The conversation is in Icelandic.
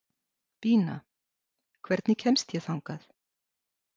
Bína, hvernig kemst ég þangað?